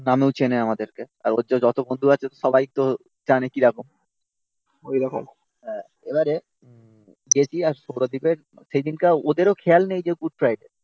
নামেও চেনে আমাদেরকে. আর হচ্ছে যত বন্ধু আছে সবাই তো জানে কিরকম এবারে গেছি আর সৌরদীপের সেইদিনকার ওদেরও খেয়াল নেই যে গুড ফ্রাইডে